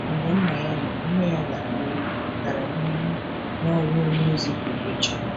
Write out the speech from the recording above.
Mgbe nna ya nwụrụ, nne ya gara n’ihu gara n’ihu n’ọrụ onye ozi pụrụ iche.